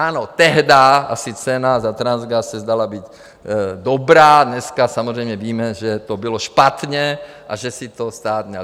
Ano, tehdy asi cena za Transgas se zdála být dobrá, dneska samozřejmě víme, že to bylo špatně a že si to stát měl...